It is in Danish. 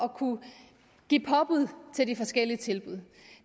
give påbud til de forskellige tilbud